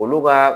Olu ka